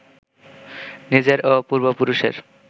নিজের ও পূর্বপুরুষের